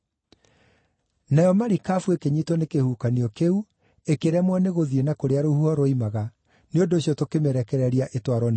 Nayo marikabu ĩkĩnyiitwo nĩ kĩhuhũkanio kĩu ĩkĩremwo nĩgũthiĩ na kũrĩa rũhuho rwoimaga, nĩ ũndũ ũcio tũkĩmĩrekereria ĩtwarwo nĩ rũhuho.